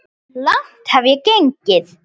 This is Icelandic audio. Langt hef ég gengið.